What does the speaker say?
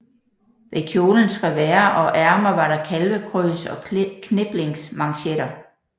Ved kjolens revers og ærmer var der kalvekrøs og kniplingsmanchetter